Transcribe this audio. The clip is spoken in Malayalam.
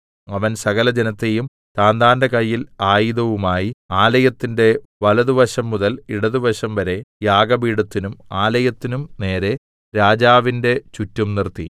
അവൻ സകലജനത്തെയും താന്താന്റെ കയ്യിൽ ആയുധവുമായി ആലയത്തിന്റെ വലത്തുവശം മുതൽ ഇടത്തുവശംവരെ യാഗപീഠത്തിനും ആലയത്തിനും നേരെ രാജാവിന്റെ ചുറ്റും നിർത്തി